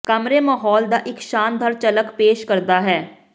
ਕਮਰੇ ਮਾਹੌਲ ਦਾ ਇੱਕ ਸ਼ਾਨਦਾਰ ਝਲਕ ਪੇਸ਼ ਕਰਦਾ ਹੈ